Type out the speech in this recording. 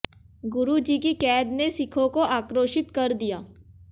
गुरु जी की कैद ने सिखों को आक्रोशित कर दिया